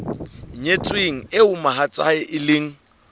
nyetsweng eo mohatsae e leng